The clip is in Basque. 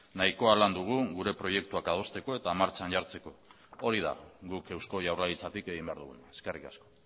nahikoa lan dugu gure proiektuak adosteko eta martxan jartzeko hori da guk eusko jaurlaritzatik egin behar duguna eskerrik asko